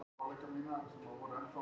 Vatnið aftur orðið drykkjarhæft